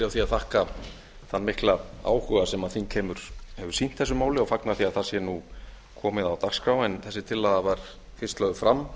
því að þakka þann mikla áhuga sem þingheimur hefur sýnt þessu máli og fagna því að það sé nú komið á dagskrá en þessi tillaga var fyrst lögð fram